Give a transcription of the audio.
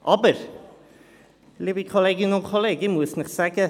Aber, liebe Kolleginnen und Kollegen, ich muss Ihnen sagen: